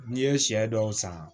N'i ye sɛ dɔw san